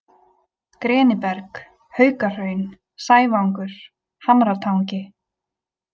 Greniberg, Haukahraun, Sævangur, Hamratangi